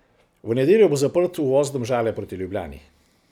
V nedeljo bo zaprt uvoz Domžale proti Ljubljani.